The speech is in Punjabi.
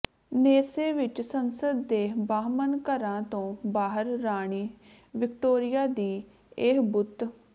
ਨੈਸੈ ਵਿਚ ਸੰਸਦ ਦੇ ਬਾਹਮਣ ਘਰਾਂ ਤੋਂ ਬਾਹਰ ਰਾਣੀ ਵਿਕਟੋਰੀਆ ਦੀ ਇਹ ਬੁੱਤ